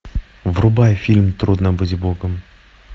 врубай фильм трудно быть богом